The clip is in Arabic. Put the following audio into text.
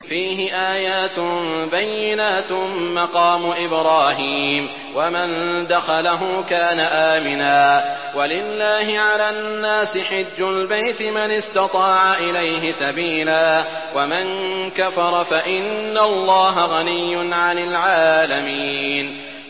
فِيهِ آيَاتٌ بَيِّنَاتٌ مَّقَامُ إِبْرَاهِيمَ ۖ وَمَن دَخَلَهُ كَانَ آمِنًا ۗ وَلِلَّهِ عَلَى النَّاسِ حِجُّ الْبَيْتِ مَنِ اسْتَطَاعَ إِلَيْهِ سَبِيلًا ۚ وَمَن كَفَرَ فَإِنَّ اللَّهَ غَنِيٌّ عَنِ الْعَالَمِينَ